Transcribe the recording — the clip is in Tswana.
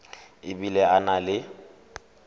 e bile a na le